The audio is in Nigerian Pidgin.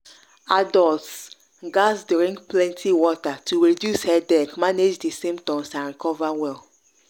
adults gatz drink plenty water to reduce headache manage di symptoms and recover well.